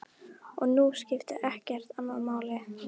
Og nú skipti ekkert annað máli.